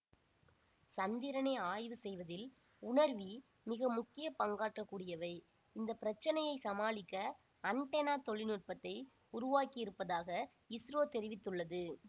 சந்திரனை ஆய்வு செய்வதில் உணர்வீ மிக முக்கிய பங்காற்றக்கூடியவை இந்த பிரச்சனையை சமாளிக்க அண்டெனா தொழில்நுட்பத்தை உருவாக்கி இருப்பதாக இஸ்ரோ தெரிவித்துள்ளது